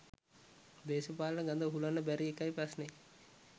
දේශපාලන ගඳ උහුලන්න බැරි ඒකයි ප්‍රශ්නේ.